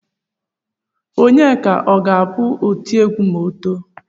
Onyeka ọ ga-abụ otiegwu ma o too?